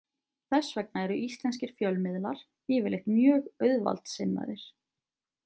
Þess vegna eru íslenskir fjölmiðlar yfirleitt mjög auðvaldssinnaðir.